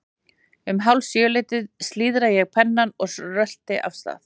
Um hálf sjö leytið slíðra ég pennann og rölti af stað.